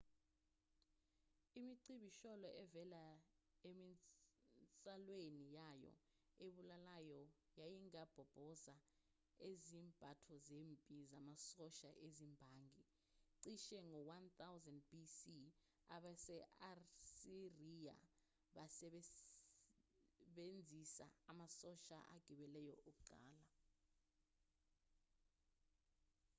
imicibisholo evela eminsalweni yayo ebulalayo yayingabhoboza izembatho zempi zamasosha ezimbangi cishe ngo-1000 b.c. abase-asiriya basebenzisa amasosha agibeleyo okuqala